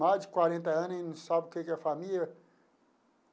Mais de quarenta anos e não sabe o que que é família.